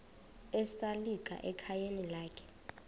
esalika ekhayeni lakhe